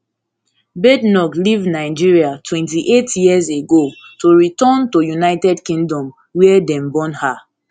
badenoch leave nigeria twenty-eight years ago to return to united kingdom wia dem born her